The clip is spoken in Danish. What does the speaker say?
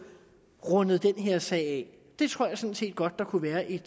rundet den her sag af det tror jeg sådan set godt der kunne være et